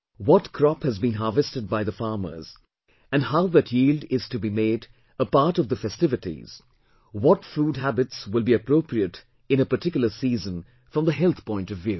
What crop has been harvested by the farmers and how that yield is to be made a part of the festivities, what food habits will be appropriate in a particular season from the health point of view